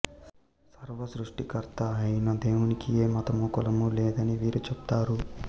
సర్వ సృష్టికర్త అయిన దేవునికి ఏ మతము కులము లేదనీ వీరు చెప్తారు